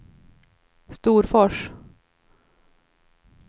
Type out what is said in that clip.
Storfors